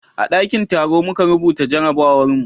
a dakin taro muka rubuta jarabawar mu